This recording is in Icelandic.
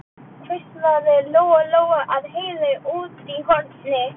hvíslaði Lóa Lóa að Heiðu úti í horni.